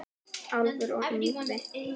Álfur og Yngvi